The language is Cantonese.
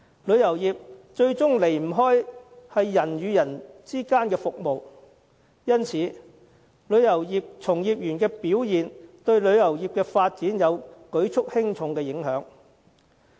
旅遊業始終關乎人與人之間的服務，因此旅遊業從業員的表現對旅遊業的發展，有着舉足輕重的影響。